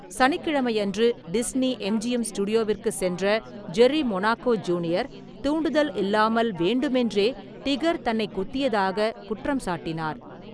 சனிக்கிழமையன்று Disney MGM ஸ்டுடியோவிற்கு சென்ற Jerry Monaco junior, தூண்டுதல் இல்லாமல் வேண்டுமென்றே டிகர் தன்னை குத்தியதாக குற்றம் சாட்டினார்.